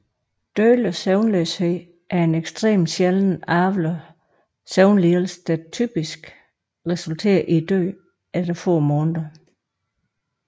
Dødelig søvnløshed er en extrem sjælden arvelig søvnlidelse der typisk resulterer i døden efter få måneder